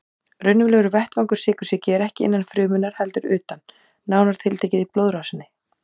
Raunverulegur vettvangur sykursýki er ekki innan frumunnar heldur utan, nánar tiltekið í blóðrásinni.